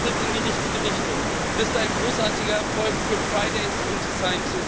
Das ist ein Schritt in die richtige Richtung, und es ist ein großartiger Erfolg für und die